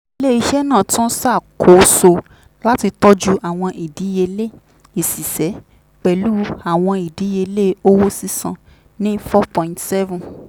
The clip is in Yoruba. ilé-iṣẹ́ náà tún ṣàkóso láti tọ́jú àwọn ìdíyelé ìsìsẹ́ pẹ̀lú àwọn ìdíyelé owó sísan ni four point seven